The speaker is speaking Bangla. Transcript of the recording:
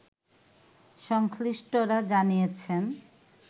সংশ্লিষ্টরা জানিয়েছেন